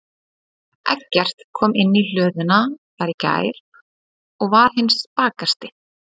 Eggert kom inn í hlöðuna þar í gær og var hinn spakasti.